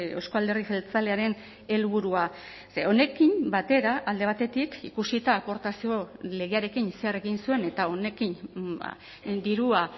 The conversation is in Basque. euzko alderdi jeltzalearen helburua ze honekin batera alde batetik ikusita aportazio legearekin zer egin zuen eta honekin dirua